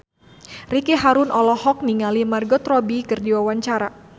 Ricky Harun olohok ningali Margot Robbie keur diwawancara